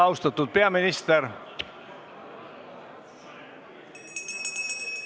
Austatud peaminister!